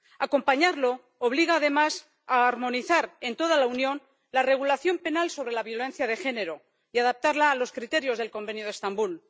Acompañarlo obliga además a armonizar en toda la Unión la regulación penal sobre la violencia de género y adaptarla a los criterios del Convenio de Estambul.